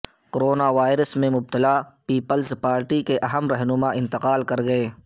corona virus میں مبتلا پیپلزپارٹی کےاہم رہنما انتقال کر گئے